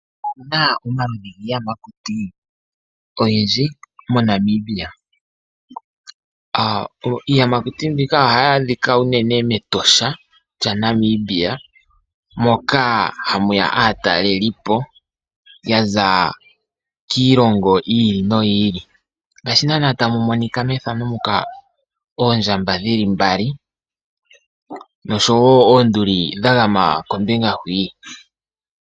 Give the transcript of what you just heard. Otuna omaludhi giiyamakuti oyindji moNamibia. Iiyamakuti mbika ohayi adhika unene mEtosha lyaNamibia moka hamu ya aatalelipo yaza kiilongo yiili noyi ili. Ngaashi nana tamu monika megano muka oondjamba dhili mbali noshowo oonduli dha gama kombinga hwii.